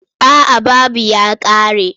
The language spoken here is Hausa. A'a babu ya ƙare.